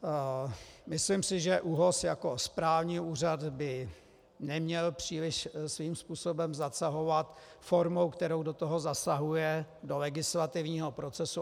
Myslím si, že ÚOHS jako správní úřad byl neměl příliš svým způsobem zasahovat formou, kterou do toho zasahuje, do legislativního procesu.